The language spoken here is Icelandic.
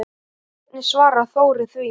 Hvernig svarar Þórir því?